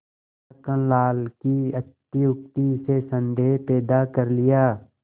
छक्कन लाल की अत्युक्ति से संदेह पैदा कर लिया